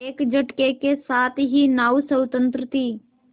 एक झटके के साथ ही नाव स्वतंत्र थी